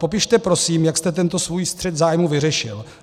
Popište prosím, jak jste tento svůj střet zájmu vyřešil.